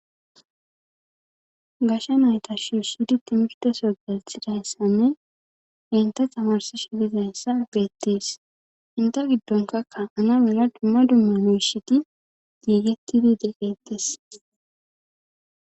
Gasha nayta shuushidi timfteso geethidayssanne ente tamarsi shilizayssa geettees inte giddonkakka ana mela dumma dummu miishiti giigettidi degeettes.